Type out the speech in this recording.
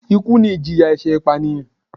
Ikú ni ìjìyà ẹ̀ṣẹ̀ ìpànìyàn